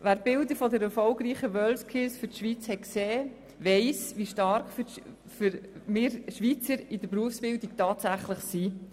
Wer die Bilder der für die Schweiz erfolgreichen WorldSkills gesehen hat, weiss, wie stark wir Schweizer in der Berufsbildung tatsächlich sind.